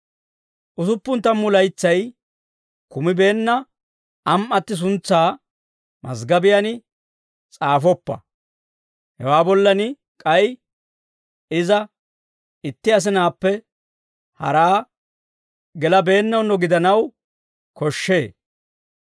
Usuppun tammu laytsay kumibeenna am"atti suntsaa maziggobiyaan s'aafoppa. Hewaa bollan k'ay iza itti asinaappe haraa gelabeennawunno gidanaw koshshee.